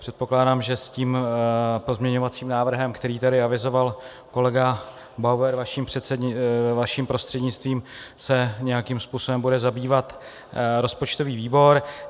Předpokládám, že s tím pozměňovacím návrhem, který tady avizoval kolega Bauer vaším prostřednictvím, se nějakým způsobem bude zabývat rozpočtový výbor.